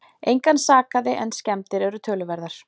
Engan sakaði en skemmdir eru töluverðar